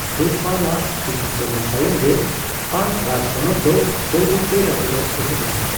ᱫᱮᱵᱯᱟᱞ ᱟᱜ ᱠᱤᱪᱷᱩ ᱥᱮᱨᱢᱟ ᱛᱟᱭᱚᱢᱜᱮ ᱯᱟᱞ ᱨᱟᱡᱽᱯᱚᱱᱚᱛ ᱫᱚ ᱵᱟᱹᱭᱛᱮ ᱵᱟᱹᱭᱛᱮ ᱨᱟᱹᱯᱩᱫᱚᱜ ᱮᱦᱚᱵ ᱞᱮᱱᱟ ᱾